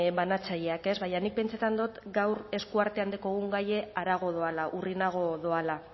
banatzaileak baina nik pentsetan dot gaur eskuartean dekogun gaie harago doala urrinago doala